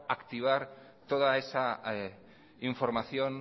activar toda esa información